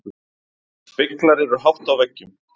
Speglar eru hátt á veggjum.